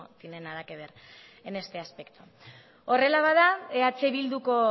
tiene nada que ver en este aspecto horrela bada eh bilduko